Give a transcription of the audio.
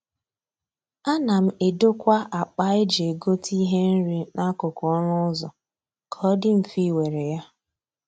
A na m edokwa akpa eji egote ihe nri n'akụkụ ọnụ ụzọ ka ọ dị mfe ị were ya.